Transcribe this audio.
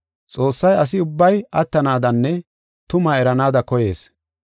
Xoossay asi ubbay attanaadanne tumaa eranaada koyees.